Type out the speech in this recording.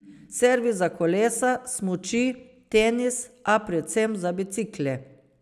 Servis za kolesa, smuči, tenis, a predvsem za bicikle.